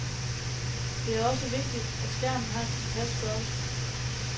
Det er også vigtigt, at skærmen har en tilpas størrelse.